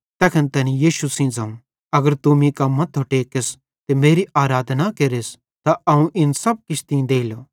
तैखन तैनी यीशु सेइं ज़ोवं अगर तू मीं कां मथ्थो टेकस ते मेरी आराधना केरस त अवं इन सब किछ तीं देलो